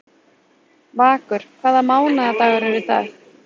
Vakur, hvaða mánaðardagur er í dag?